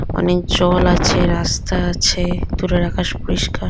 অনেক জল আছে রাস্তা আছে দূরের আকাশ পরিস্কার।